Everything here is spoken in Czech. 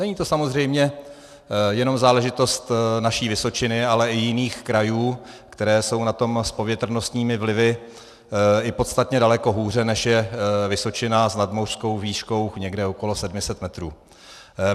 Není to samozřejmě jenom záležitost naší Vysočiny, ale i jiných krajů, které jsou na tom s povětrnostními vlivy i podstatně daleko hůře, než je Vysočina s nadmořskou výškou někde okolo 700 metrů.